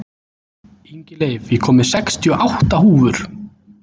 Ingileif, ég kom með sextíu og átta húfur!